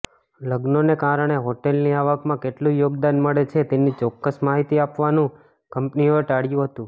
લગ્નોને કારણે હોટેલની આવકમાં કેટલું યોગદાન મળે છે તેની ચોક્કસ માહિતી આપવાનું કંપનીઓએ ટાળ્યું હતું